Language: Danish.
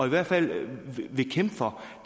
i hvert fald vil kæmpe for